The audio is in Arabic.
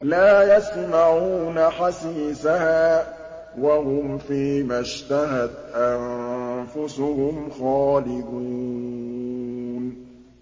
لَا يَسْمَعُونَ حَسِيسَهَا ۖ وَهُمْ فِي مَا اشْتَهَتْ أَنفُسُهُمْ خَالِدُونَ